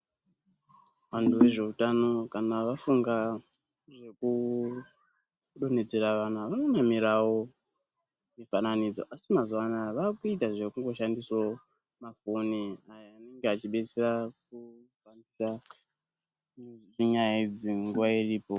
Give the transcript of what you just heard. Vantu ngezveutano kana vafunga zvekudonhedzera vana vanonamirawo mifananidzo asi mazuwa anaya vakuita zvekungoshandisawo mafoni ayo anenge achidetsera kufambisa nyaya idzi nguwa iripo.